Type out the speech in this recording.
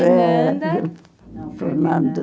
Fernanda. Não, Fernando.